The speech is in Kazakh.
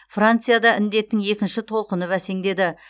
францияда індеттің екінші толқыны бәсеңдеді